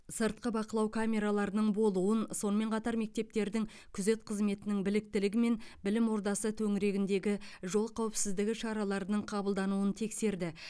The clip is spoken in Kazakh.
сыртқы бақылау камераласының болуын сонымен қатар мектептердің күзет қызметінің біліктілігі мен білім ордасы төңірегіндегі жол қауіпсіздігі шараларының қабылдануын тексерді